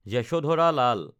যশধাৰা লাল